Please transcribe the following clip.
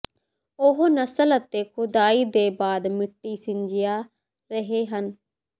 ਉਹ ਨਸਲ ਅਤੇ ਖੁਦਾਈ ਦੇ ਬਾਅਦ ਮਿੱਟੀ ਸਿੰਜਿਆ ਰਹੇ ਹਨ